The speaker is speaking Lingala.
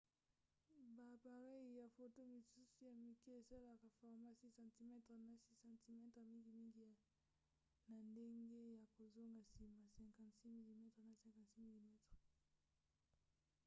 ba apareyi ya foto misusu ya mike esalelaka format 6 cm na 6 cm mingimingi na ndenge ya kozonga nsima 56 mm na 56 mm